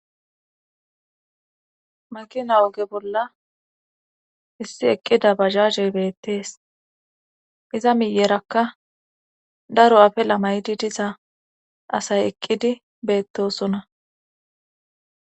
Makina woge bolla issi eqqida bazahey beettees iza miyerakka daro afelamaydi diza asay eqqidi beettosona.